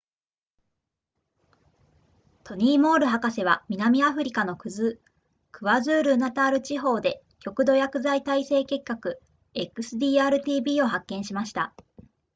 トニーモール博士は南アフリカのクワズールーナタール地方で極度薬剤耐性結核 xdr-tb を発見しました